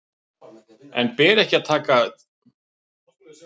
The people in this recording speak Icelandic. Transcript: En ber ekki að taka úttekt sem þessa alvarlega?